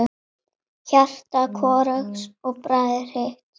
Hjarta hvorugs bræðir hitt.